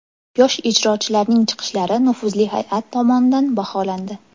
Yosh ijrochilarning chiqishlari nufuzli hay’at tomonidan baholandi.